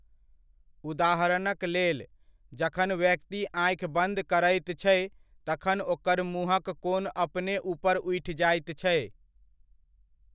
उदाहरणक लेल, जखन व्यक्ति आँखि बन्द करैत छै तखन ओकर मुँहक कोन अपने ऊपर उठि जाइत छै।